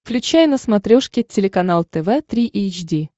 включай на смотрешке телеканал тв три эйч ди